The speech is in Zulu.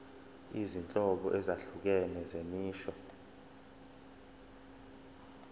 izinhlobo ezahlukene zemisho